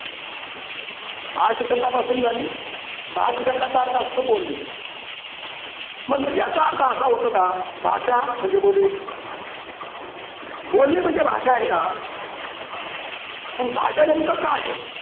भाष शब्दापासून झाली. भाष शब्दाचा अर्थ असतो बोलणे. मग याचा अर्थ असा होतो का भाषा म्हणजे बोलणे. बोलणे म्हणजे भाषा आहे का? पण भाषा नेमकं काय आहे?